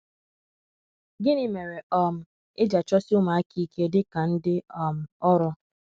gịnị mere um e ji achọsi ụmụaka ike dị ka ndị um ọrụ?